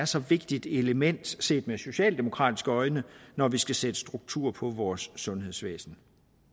så vigtigt element set med socialdemokratiske øjne når vi skal sætte struktur på vores sundhedsvæsen